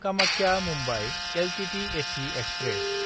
Kamakhya Mumbai LTT AC express